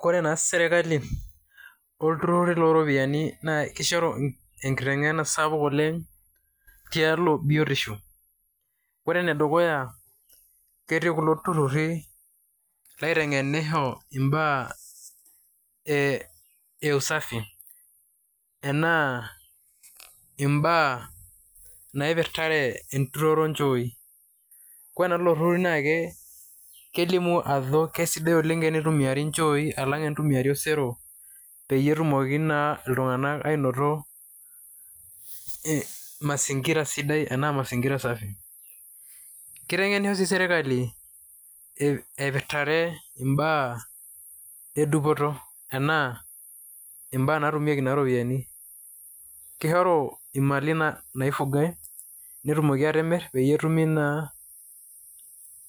Kore naa serkali oltururi lo ropiani kishoru enkiteng'ena sapuk oleng' tialo biotisho. Kore ene dukuya, ketii kulo tururi laiteng'enisho mbaa ee usafi, enaa mbaa naipirtare enturore o nchooi. Kore naa lelo turruri naake kelimu ajo kesidai enitumiari nchoi alang' enitumiari osero peyie etumoki naa iltung'anak ainoto mazingira sidai enaa mazingira safi. Kiteng'enisho sii serkali aipirtare mbaa e dupoto enaa mbaa natumieki naa iropiani, kishoru imali naifugai netumoki atimir peyie etumii naa